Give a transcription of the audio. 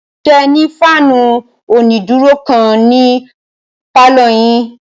Ṣé ẹ ní fáànù onídúró kan ní pálọ̀ yín?